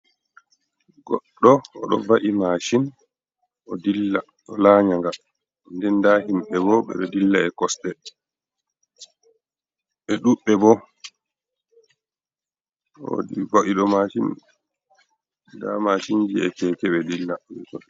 Goɗɗo oɗo va’i mashin odilla o lanya nga, den nda himɓe bo ɓeɗoo dilla Bo e kosɗe ɓe ɗuɗɓe bo va'iɗo maishin nda mashinji be keke ɓe dilla weto.